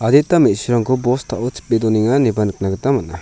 adita me·surangko bostao chipe donenga ineba nikna gita man·a.